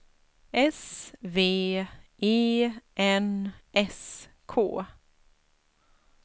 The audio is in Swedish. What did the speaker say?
S V E N S K